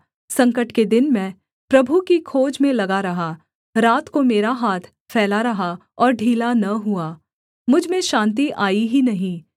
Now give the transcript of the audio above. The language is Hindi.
संकट के दिन मैं प्रभु की खोज में लगा रहा रात को मेरा हाथ फैला रहा और ढीला न हुआ मुझ में शान्ति आई ही नहीं